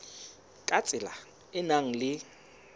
ka tsela e nang le